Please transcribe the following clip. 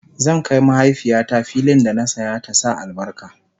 zan Kai mahaifiyata fillin da na saya ta Sa albarka